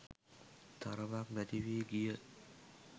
තරමක් නැති වී ගිය